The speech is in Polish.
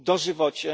Dożywocie.